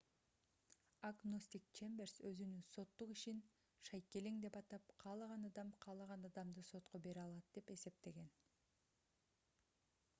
агностик чемберс өзүнүн соттук ишин шайкелең деп атап каалаган адам каалаган адамды сотко бере алат деп эсептеген